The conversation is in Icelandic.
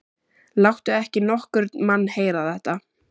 Láttu ekki nokkurn mann heyra þetta!